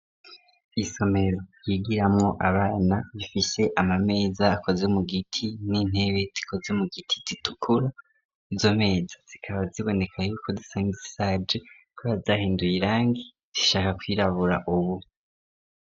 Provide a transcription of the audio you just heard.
Isomero yigiramwo abana bifise amameza akoze mu giti n'intebe zikoze mu giti zitukura izo meza zikaba ziboneka yuko zishaje kubera zahinduye irangi zishaka kwirabura ubu.